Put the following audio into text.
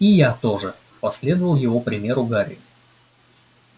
и я тоже последовал его примеру гарри